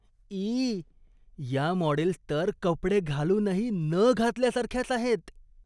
E! या models तर कपडे घालूनही न घातल्यासारख्याच आहेत.